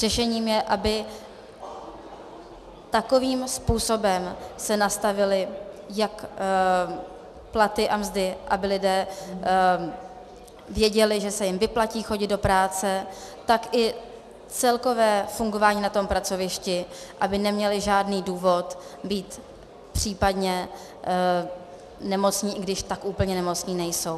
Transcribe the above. Řešením je, aby takovým způsobem se nastavily jak platy a mzdy, aby lidé věděli, že se jim vyplatí chodit do práce, tak i celkové fungování na tom pracovišti, aby neměli žádný důvod být případně nemocní, i když tak úplně nemocní nejsou.